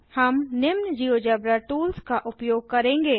हम निम्न GeoGebra tools का उपयोग करेंगे